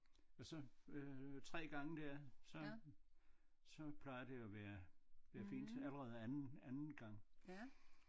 Men så øh 3 gange der så så plejer det at være øh fint allerede anden anden gang